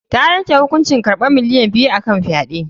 Ta yanke hukuncin karɓan miliyan biyu a kan fyaɗe.